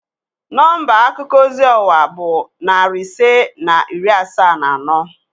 Nọmba akuko ozi ọwa bụ narị ise na iri asaa na anọ